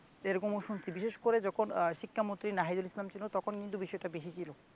এরকমও শুনছি বিশেষ করে যখন আহ শিক্ষামন্ত্রী নাহিদুল ইসলাম ছিল তখন কিন্তু বিষয়টা বেশি ছিল